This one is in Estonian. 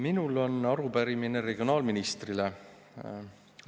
Minul on arupärimine regionaalministrile.